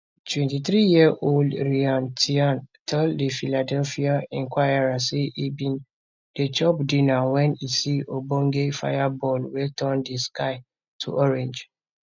23yearold ryan tian tell the philadelphia inquirer say e bin dey chop dinner wen e see ogbonge fireball wey turn di sky to orange